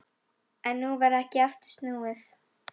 En nú var ekki aftur snúið.